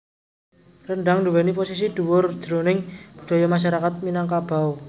Rendhang nduwèni posisi dhuwur jroning budaya masyarakat Minangkabau